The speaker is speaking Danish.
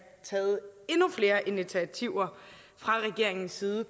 taget endnu flere initiativer fra regeringens side